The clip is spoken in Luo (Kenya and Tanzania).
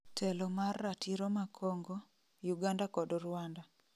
Telo mar ratiro ma Congo, Uganda kod Rwanda